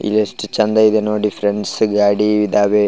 ಇದ್ ಎಷ್ಟ್ ಚೆಂದ ಇದೆ ನೋಡಿ ಫ್ರೆಂಡ್ಸ್ ಗಾಡಿ ಇದಾವೆ --